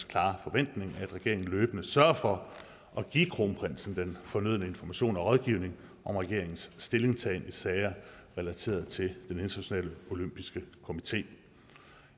klare forventning at regeringen løbende sørger for at give kronprinsen den fornødne information og rådgivning om regeringens stillingtagen i sager relateret til den internationale olympiske komité